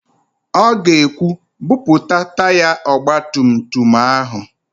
Ọ ga-ekwu, "buputa taya ọgbatumtum áhụ̀